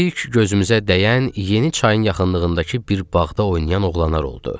İlk gözümüzə dəyən yeni çayın yaxınlığındakı bir bağda oynayan oğlanlar oldu.